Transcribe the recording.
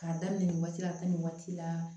K'a daminɛ nin waati la a taa nin waati la